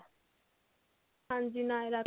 ਹਾਂਜੀ ਨਾਏਰਾ ਕੱਟ